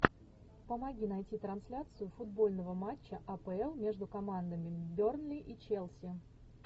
помоги найти трансляцию футбольного матча апл между командами бернли и челси